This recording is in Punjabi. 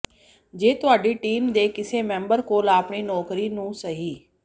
ਜੇ ਤੁਹਾਡੀ ਟੀਮ ਦੇ ਕਿਸੇ ਮੈਂਬਰ ਕੋਲ ਆਪਣੀ ਨੌਕਰੀ ਨੂੰ ਸਹੀ